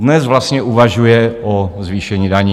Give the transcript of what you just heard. Dnes vlastně uvažuje o zvýšení daní.